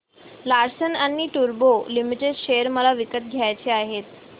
Larsen and टुर्बो limited share मला विकत घ्यायचे आहेत